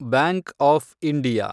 bank of India